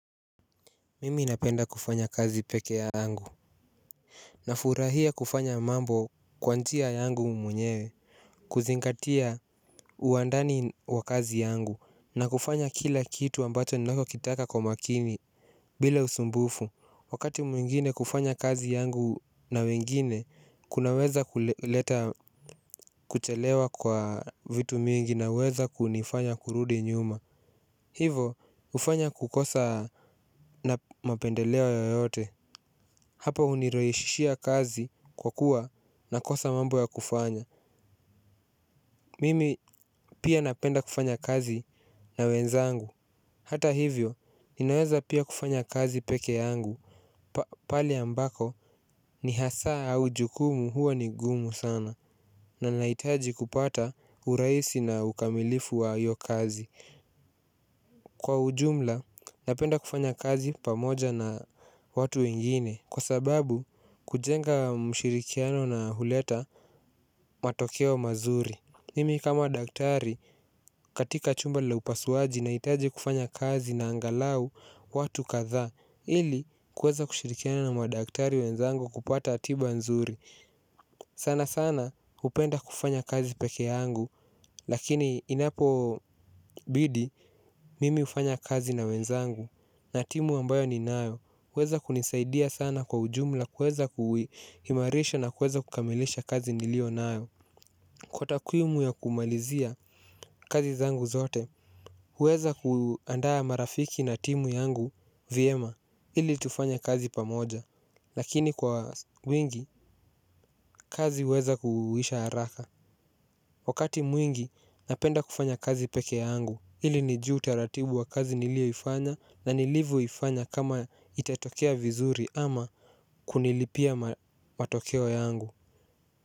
Mimi napenda kufanya kazi pekee yangu. Na furahia kufanya mambo kwa njia yangu mwenyewe. Kuzingatia uandani wa kazi yangu. Na kufanya kila kitu ambacho ninako kitaka kwa makini. Bila usumbufu wakati mwingine kufanya kazi yangu na wengine kunaweza kuleta kuchelewa kwa vitu mingi na weza kunifanya kurudi nyuma. Hivo hufanya kukosa na mapendeleo yoyote. Hapa hunirahishishia kazi kwa kuwa nakosa mambo ya kufanya. Mimi pia napenda kufanya kazi na wenzangu. Hata hivyo, ninaweza pia kufanya kazi peke yangu pale ambako ni hasaa au jukumu huo ni gumu sana. Nanahitaji kupata urahisi na ukamilifu wa hiyo kazi. Kwa ujumla, napenda kufanya kazi pamoja na watu wengine. Kwa sababu kujenga mshirikiano na huleta matokeo mazuri. Mimi kama daktari katika chumba la upasuaji na hitaji kufanya kazi na angalau watu kadhaa ili kuweza kushirikiana na madaktari wenzangu kupata tiba nzuri. Sana sana hupenda kufanya kazi peke yangu. Lakini inapo bidi mimi hufanya kazi na wenzangu. Na timu ambayo ni nayo, weza kunisaidia sana kwa ujumla kuweza kuimarisha na kuweza kukamilisha kazi niliyo nayo. Kwa takuimu ya kumalizia kazi zangu zote, huweza kuandaa marafiki na timu yangu, vyema ili tufanya kazi pamoja. Lakini kwa wingi, kazi huweza kuhuisha haraka. Wakati mwingi napenda kufanya kazi peke yangu ili nijue utaratibu wa kazi nilio ifanya na nilivyo ifanya kama itatokea vizuri ama kunilipia matokeo yangu.